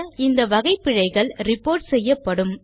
இந்த வகை பிழைகள் ரிப்போர்ட் செய்யப்படும்